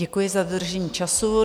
Děkuji za dodržení času.